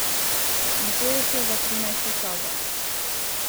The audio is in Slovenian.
Nato je šel v trinajsto sobo.